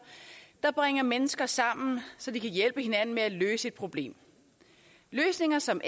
der bringer mennesker sammen så de kan hjælpe hinanden med at løse et problem løsninger som